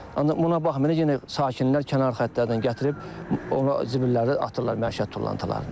Ancaq buna baxmayaraq yenə sakinlər kənar xətlərdən gətirib zibilləri atırlar məişət tullantılarını.